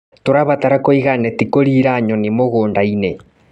Tũrabatara kũiga neti kũriĩra nyoni mũgũndainĩ.